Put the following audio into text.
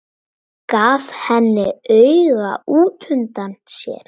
Gaf henni auga útundan sér.